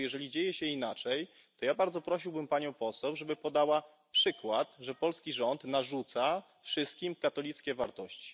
Dlatego jeżeli dzieje się inaczej, to ja bardzo prosiłbym panią poseł, żeby podała przykład, że polski rząd narzuca wszystkim katolickie wartości.